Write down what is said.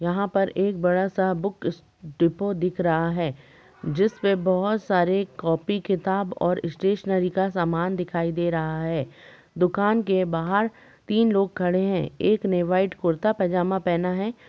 यहाँ पर एक बड़ा सा बुक स डिपो दिख रहा है जिसमे बहुत सारी कॉपी किताब और स्टेशनरी का सामान दिखाई दे रहा है दुकान के बाहर तीन लोग खड़े हैं एक ने वाइट कुर्ता पैजामा पहना है |